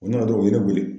O nana dɔrɔn o ye ne wele